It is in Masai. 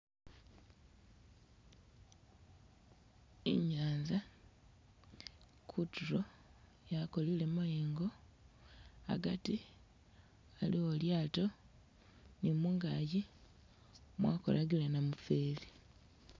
Inyanza kutulo yakolele mayengo agati aliwo lyaato ni mungaji mwakolakile namufeli